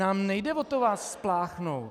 Nám nejde o to vás spláchnout.